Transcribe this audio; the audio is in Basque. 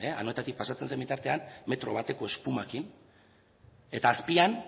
anoetatik pasatzen zen bitartean metro bateko espumakin eta azpian